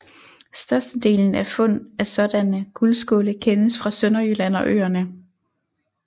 Størstedelen af fund af sådanne guldskåle kendes fra Sønderjylland og øerne